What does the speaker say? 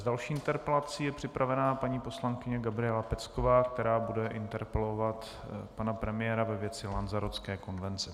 S další interpelací je připravena paní poslankyně Gabriela Pecková, která bude interpelovat pana premiéra ve věci Lanzarotské konvence.